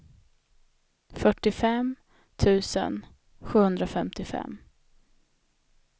fyrtiofem tusen sjuhundrafemtiofem